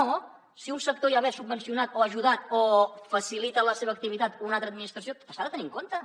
no si un sector ja ve subvencionat o ajudat o facilita la seva activitat una altra administració s’ha de tenir en compte